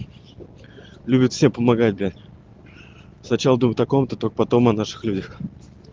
любит все помогать блять сначала о ком-то только потом о наших людях